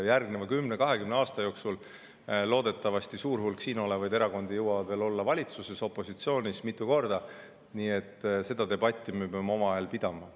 Järgneva kümne-kahekümne aasta jooksul jõuab loodetavasti suur hulk siin olevaid erakondi veel olla valitsuses ja ka opositsioonis mitu korda, nii et debatti me peame omavahel pidama.